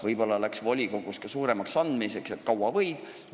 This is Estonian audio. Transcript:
Võib-olla läks volikogus ka suuremaks andmiseks, et kaua võib.